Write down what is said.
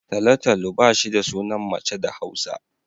Talo-talo ba shi da sunan mace da Hausa